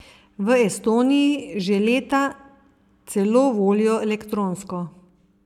V Estoniji že leta celo volijo elektronsko.